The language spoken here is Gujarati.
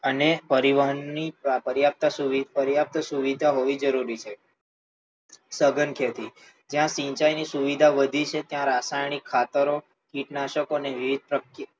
અને પરિવહન ની પર્યાપ્ત સુવિધા હોવી જરૂરી છે. સઘન ખેતી, જ્યાં સિંચાઈ ની સુવિધા વધી છે ત્યાં રાસાયણિક ખતરો, કિટનાશકો અને વિવિધ,